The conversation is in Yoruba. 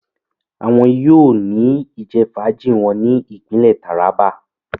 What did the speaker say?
Awọn yóò ni ijẹfaaji wọn ni ipinle Taraba